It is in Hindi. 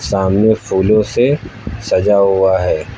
सामने फूलों से सजा हुआ है।